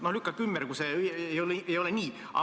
Lükake ümber, kui see ei ole nii.